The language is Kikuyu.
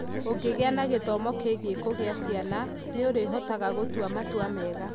Ũngĩgĩa na gĩthomo kĩgiĩ kũgĩa ciana, nĩ ũrĩhotaga gũtua matua mega.